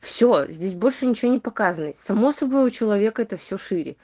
все здесь больше ничего не показывает само собой у человека это все шире